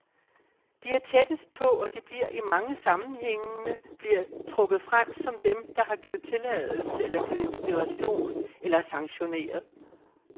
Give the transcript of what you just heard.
De er tættest på, og de bliver i mange sammenhænge bliver trukket frem som dem, der har givet tilladelse, eller givet inspiration, eller sanktioneret.